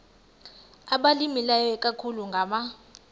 abalimileyo ikakhulu ngama